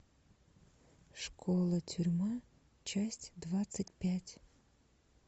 школа тюрьма часть двадцать пять